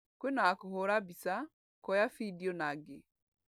Kwĩna wa kũhũra mbica, kuoya bideo na angĩ